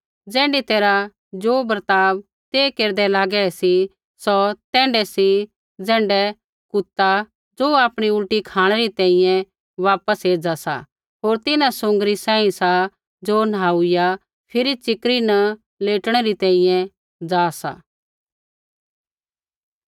ज़ैण्ढी तैरहा ज़ो बर्ताव ते केरदै लागै सी सौ तैण्ढै सी ज़ैण्ढै कुता ज़ो आपणी उल्टी खाँणै री तैंईंयैं वापस एज़ा सा होर तिन्हां सुँगरनी सांही सा ज़ो नहाईया फिरी च़िकरी न लेटणै री तैंईंयैं ज़ा सा